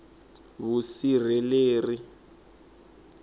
vusirheleri